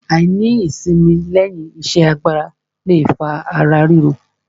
Àìní ìsimi lẹ́yìn iṣẹ́ agbára le fa ara ríro.